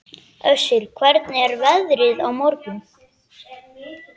Össur, hvernig er veðrið á morgun?